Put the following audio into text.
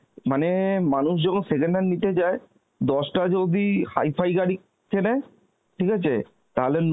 মানে মানুষ যখন second hand নিতে যায় দশটা যদি hifi গাড়ি কেনে ঠিক আছে তাহলে নো